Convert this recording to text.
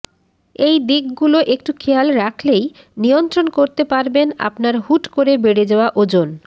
এই দিকগুলো একটু খেয়াল রাখলেই নিয়ন্ত্রণ করতে পারবেন আপনার হুট করে বেড়ে যাওয়া ওজন